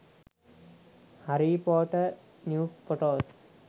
harry potter new photos